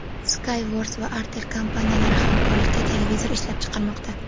Skyworth va Artel kompaniyalari hamkorlikda televizor ishlab chiqarmoqda.